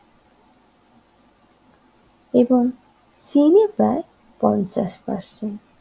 এবং চেনে প্রায় পঞ্চাশ পারসেন্ট